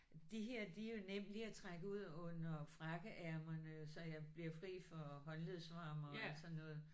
De her de er jo nemme lige at trække ud under frakkeærmerne så jeg bliver fri for håndledsvarmere alt sådan noget